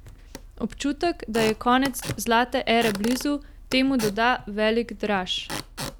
Občutek, da je konec zlate ere blizu, temu doda velik draž.